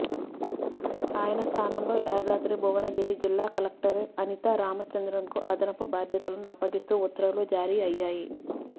ఆయన స్థ్ధానంలో యాదాద్రి భువనగిరి జిల్లా కలెక్టర్ అనితా రామచంద్రన్కు అదనపు భాద్యతలను అప్పగిస్తూ ఉత్తర్వులు జారీ అయ్యాయి